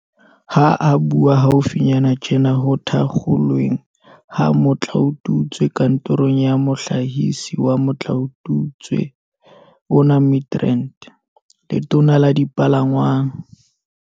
Ha a bua haufinyana tjena ho thakgolweng ha motlaotutswe kantorong ya Mohlahisi wa motlaotutswe ona Midrand, Letona la Dipalangwang